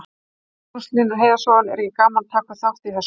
Magnús Hlynur Hreiðarsson: Er ekki gaman að taka þátt í þessu?